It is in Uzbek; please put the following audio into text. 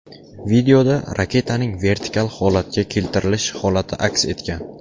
Videoda raketaning vertikal holatga keltirilish holati aks etgan.